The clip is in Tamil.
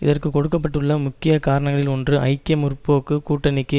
இதற்கு கொடுக்க பட்டுள்ள முக்கிய காரணங்களில் ஒன்று ஐக்கிய முற்போக்கு கூட்டணிக்கு